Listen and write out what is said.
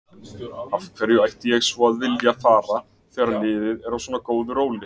Af hverju ætti ég svo að vilja fara þegar liðið er á svona góðu róli?